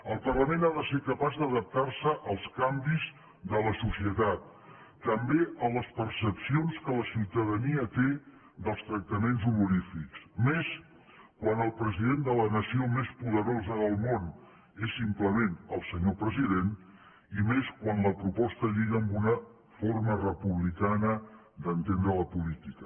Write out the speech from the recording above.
el parlament ha de ser capaç d’adaptar se als canvis de la societat també a les percepcions que la ciutadania té dels tractaments honorífics més quan el president de la nació més poderosa del món és simplement el senyor president i més quan la proposta lliga amb una forma republicana d’entendre la política